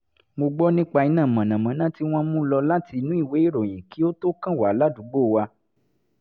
mo gbọ́ nípa iná mọ̀nàmọ́ná tí wọ́n mú lọ láti inú ìwé ìròyìn kí ó tó kàn wá ládùúgbò wa